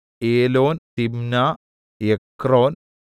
Elon Timnah Ekron